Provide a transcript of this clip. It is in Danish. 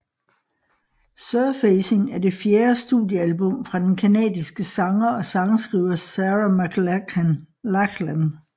Surfacing er det fjerde studiealbum fra den canadiske sanger og sangskriver Sarah McLachlan